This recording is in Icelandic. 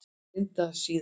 Lindasíðu